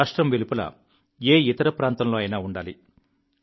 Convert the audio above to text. మీ రాష్ట్రం వెలుపల ఏ ఇతర ప్రాంతంలో అయినా ఉండాలి